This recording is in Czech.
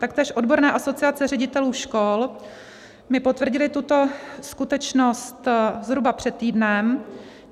Taktéž odborné asociace ředitelů škol mi potvrdily tuto skutečnost zhruba před týdnem.